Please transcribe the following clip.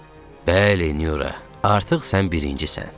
Bəli, Nyura, artıq sən birincisən.